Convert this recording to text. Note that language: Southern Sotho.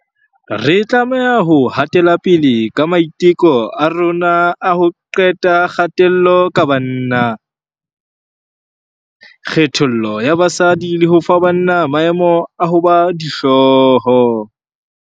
Re tlameha ho hatelapele ka maiteko a rona a ho qeta kgatello ka banna, kgethollo ya basadi le ho fa banna maemo a ho ba dihloho.